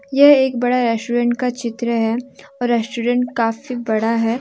यह एक बड़ा रेस्टोरेंट का चित्र है और रेस्टोरेंट काफी बड़ा है।